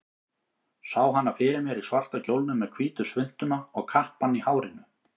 Sá hana fyrir mér í svarta kjólnum, með hvítu svuntuna og kappann í hárinu.